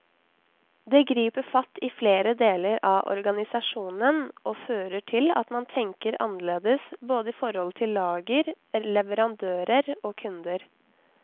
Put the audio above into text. Det griper fatt i flere deler av organisasjonen og fører til at man tenker annerledes både i forhold til lager, leverandører og kunder.